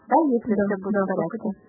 если